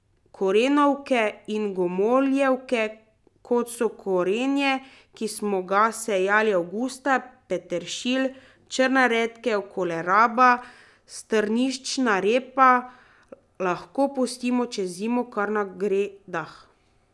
Korenovke in gomoljevke, kot so korenje, ki smo ga sejali avgusta, peteršilj, črna redkev, koleraba, strniščna repa, lahko pustimo čez zimo kar na gredah.